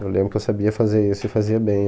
Eu lembro que eu sabia fazer isso e fazia bem.